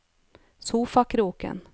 sofakroken